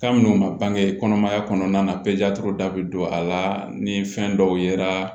Kabini u ma bange kɔnɔmaya kɔnɔna na da bɛ don a la ni fɛn dɔw yera